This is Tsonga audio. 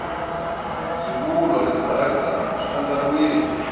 swivulwa na tipharagirafu swi andlariwile